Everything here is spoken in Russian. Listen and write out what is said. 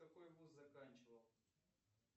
какой вуз заканчивал